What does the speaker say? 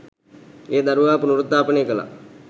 ඒ දරුවා පුනරුත්ථාපනය කළා.